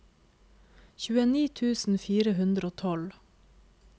tjueni tusen fire hundre og tolv